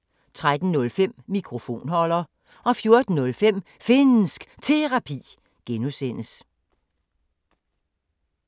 13:05: Mikrofonholder 14:05: Finnsk Terapi (G)